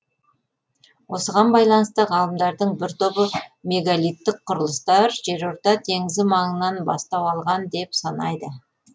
осыған байланысты ғалымдардың бір тобы мегалиттік құрылыстар жерорта теңізі маңынан бастау алған деп санайды